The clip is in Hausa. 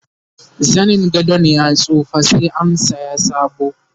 zanin gadon ya tsufa sai an saya sabo